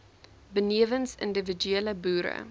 benewens individuele boere